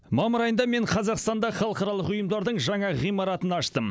мамыр айында мен қазақстанда халықаралық ұйымдардың жаңа ғимаратын аштым